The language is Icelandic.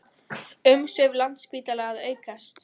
Umsvif Landspítala að aukast